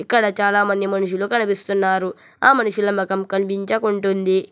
ఇక్కడ చాలామంది మనుషులు కనిపిస్తున్నారు ఆ మనుషుల ముఖం కనిపించకుంటుంది.